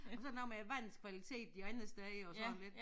Og så der noget med æ vands kvalitet det andet sted og sådan lidt